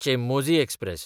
Chemmozhi express